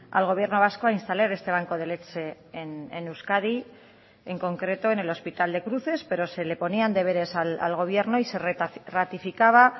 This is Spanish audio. al gobierno vasco a instalar este banco de leche en euskadi en concreto en el hospital de cruces pero se le ponían deberes al gobierno y se ratificaba